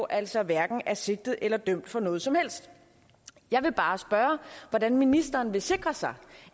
altså hverken er sigtet eller dømt for noget som helst jeg vil bare spørge om hvordan ministeren vil sikre sig